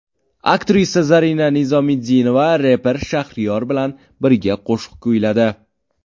Aktrisa Zarina Nizomiddinova reper Shahriyor bilan birga qo‘shiq kuyladi.